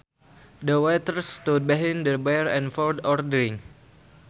The waitress stood behind the bar and poured our drinks